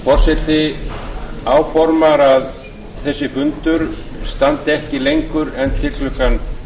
forseti áformar að þessi fundur standi ekki lengur en til klukkan